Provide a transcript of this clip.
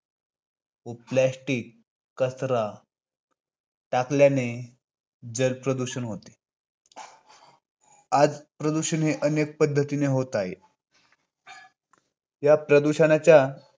व plastic कचरा टाकल्याने जल प्रदूषण होते. आज प्रदूषण हे अनेक पद्धतीने होत आहे. या प्रदूषणाच्या